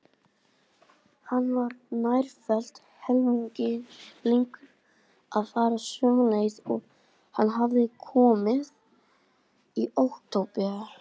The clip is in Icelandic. Hann var nærfellt helmingi lengur að fara sömu leið og hann hafði komið í október.